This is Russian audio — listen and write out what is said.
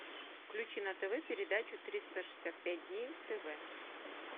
включи на тв передачу триста шестьдесят пять дней тв